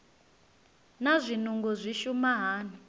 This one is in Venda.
naa zwinungo zwi shuma hani